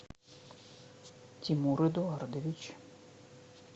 тимур эдуардович